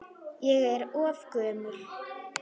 Ég er of gömul.